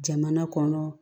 Jamana kɔnɔ